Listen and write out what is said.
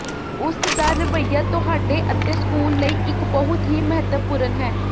ਉਸਦਾ ਰਵੱਈਆ ਤੁਹਾਡੇ ਅਤੇ ਸਕੂਲ ਲਈ ਇੱਕ ਬਹੁਤ ਹੀ ਮਹੱਤਵਪੂਰਨ ਹੈ